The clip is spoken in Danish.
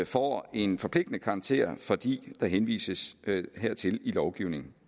får en forpligtende karakter fordi der henvises hertil i lovgivningen